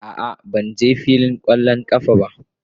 A'a, ban je filin kwallon kafa ba.